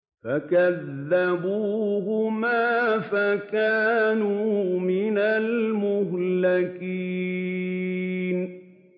فَكَذَّبُوهُمَا فَكَانُوا مِنَ الْمُهْلَكِينَ